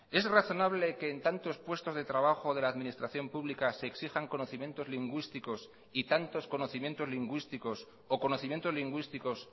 es razonable que en tantos puestos de trabajo de la administración pública se exijan conocimientos lingüísticos y tantos conocimientos lingüísticos o conocimientos lingüísticos